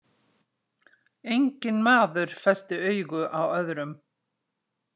Enginn maður festi augu á öðrum.